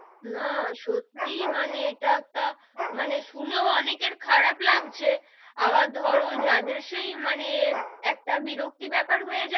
না, সত্যি মানে এটা একটা মানে শুনেও অনেকের খারাপ লাগছে আবার ধরো যাদের সেই মানে একটা বিরক্তি বেপার হয়ে,